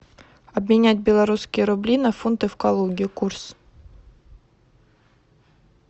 обменять белорусские рубли на фунты в калуге курс